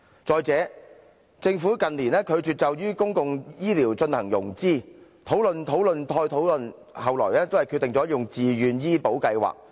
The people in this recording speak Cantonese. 再者，政府近年拒絕就公共醫療進行融資，討論、討論再討論，後來都是決定採用"自願醫保計劃"。